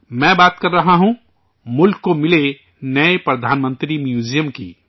میں بات کر رہا ہوں ملک کو ملے نئے پی ایم میوزیم کی